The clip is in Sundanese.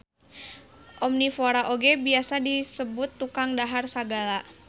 Omnivora oge biasa disebut tukang dahar sagala